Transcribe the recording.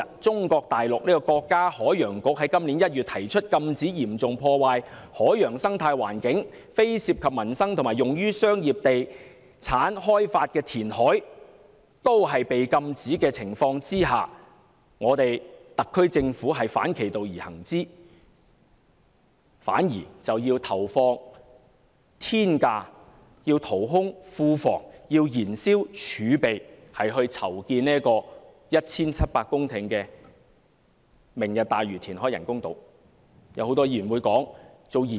中國大陸國家海洋局在今年1月提出，禁止嚴重破壞海洋生態環境、非涉及民生及用於商業地產開發的填海，但在這情況下，特區政府竟反其道而行，投放天價成本、淘空庫房、燃燒儲備來填海 1,700 公頃建造"明日大嶼"人工島。